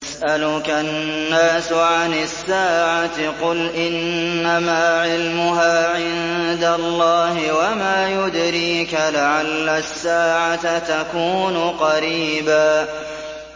يَسْأَلُكَ النَّاسُ عَنِ السَّاعَةِ ۖ قُلْ إِنَّمَا عِلْمُهَا عِندَ اللَّهِ ۚ وَمَا يُدْرِيكَ لَعَلَّ السَّاعَةَ تَكُونُ قَرِيبًا